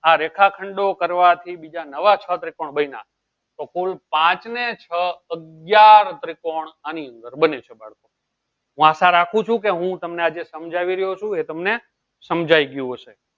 આ રેખા ખંડ કરવા થી બીજા નવા છ ત્રિકોણ બન્યા તો કુલ પાંચ ને છ અગ્યાર ત્રિકોણ આની અંદર બન્યું છે હું આશા રાખું છું કે હું તમને આ જે શામ્જાવી રહ્યો છું એ તમને શામ્જયી ગયું હશે